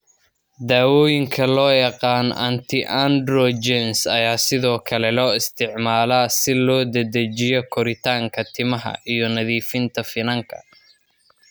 Daawooyinka loo yaqaan anti androgens ayaa sidoo kale loo isticmaalaa si loo dedejiyo koritaanka timaha iyo nadiifinta finanka.